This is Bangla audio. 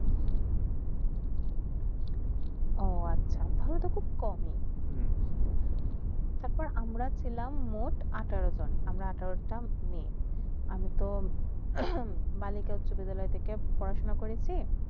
ও আচ্ছা তাই হলে খুব কমেই তারপর আমরা ছিলাম মুঠ আঠারো জন আমরা আঠারো তা মেই আমিতো বালিকা উচ্চ বিদ্যালয় টিকে পড়াশুনা করেসি